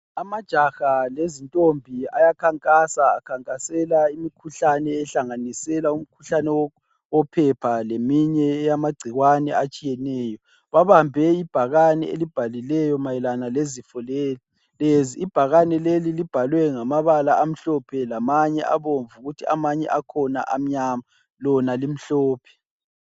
Amajaha lezintombi ayakhankasa akhankasela umkhuhlane ohlanganisela umkhuhlane wophepha leminye eyamagcikwane atshiyenetshiyeneyo. Babambe ibhakane elibhalweyo mayelana lezifo lezi. Ibhakane leli libhalwe ngamabala amhlophe lamanye abomvu kuthi amanye akhona amnyama lona limhlophe.